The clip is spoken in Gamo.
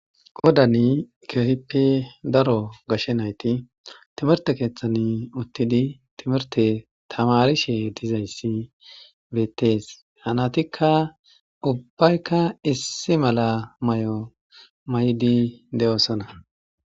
Godani kehippe daro gashshe nayti timerte keeththan uttidi timerte tamarishe dizayssi beettees hanatikka ubbaykka issi mala may'o may'di de'oosana.